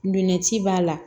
Nɛci b'a la